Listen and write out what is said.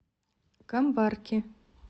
камбарки